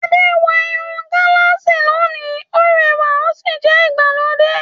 Ade wọ irun gálààsì lónìí; Ó rẹwà ó sì jẹ́ ti ìgbàlódé.